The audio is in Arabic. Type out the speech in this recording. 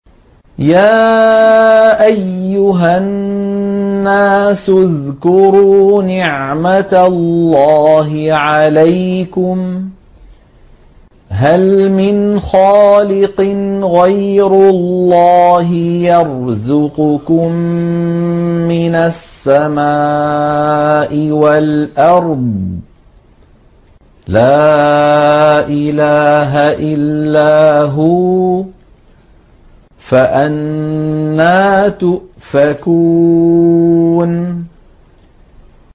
يَا أَيُّهَا النَّاسُ اذْكُرُوا نِعْمَتَ اللَّهِ عَلَيْكُمْ ۚ هَلْ مِنْ خَالِقٍ غَيْرُ اللَّهِ يَرْزُقُكُم مِّنَ السَّمَاءِ وَالْأَرْضِ ۚ لَا إِلَٰهَ إِلَّا هُوَ ۖ فَأَنَّىٰ تُؤْفَكُونَ